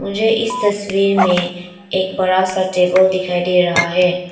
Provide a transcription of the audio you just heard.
मुझे इस तस्वीर में एक बड़ा सा टेबल दिखाई दे रहा है।